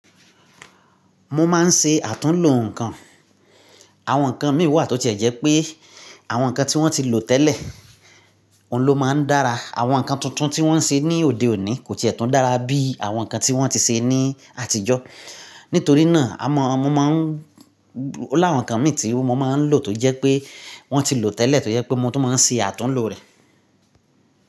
Mo máa ń ṣe àtúnlò nǹkan. Àwọn nǹkan mìí wa to ti e jẹ́ pé àwọn nǹkan tí wọ́n ti lò tẹ́lẹ̀ lọ́ máa ń dára. Àwọn nǹkan tuntun tí wọ́n ń ṣe ní òde òní kò ti e tẹ́ tún dára bí àwọn nǹkan tí wọ́n ti ṣe ní àtijọ́. Nítorí náà, àmo' mọ máa o láwọn nǹkan mìí tí mo máa ń lò tó jẹ́ pé wọ́n ti lò tẹ́lẹ̀, tó jẹ́ pé mo tún máa ń ṣe àtúnlò rẹ̀.